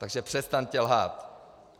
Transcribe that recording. Takže přestaňte lhát!